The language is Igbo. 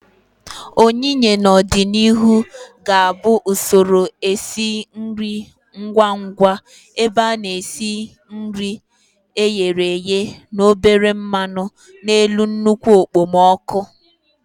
oyiye, n'ọdịnihu, ga-abụ usoro esi nri ngwa ngwa ebe a na-esi nri e ghere eghe na obere mmanu n'elu nnukwu okpomọkụ.